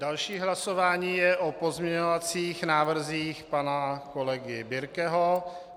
Další hlasování je o pozměňovacích návrzích pana kolegy Birkeho.